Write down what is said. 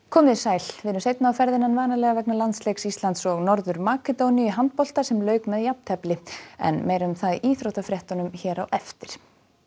komið þið sæl við erum seinna á ferðinni en vanalega vegna landsleiks Íslands og Norður Makedóníu í handbolta sem lauk með jafntefli en meira um það í íþróttafréttum á eftir